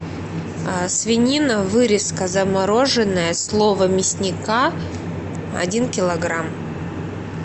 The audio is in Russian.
свинина вырезка замороженная слово мясника один килограмм